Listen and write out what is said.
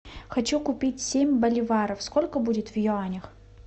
хочу купить семь боливаров сколько будет в юанях